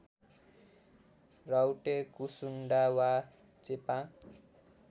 राउटे कुसुन्डा वा चेपाङ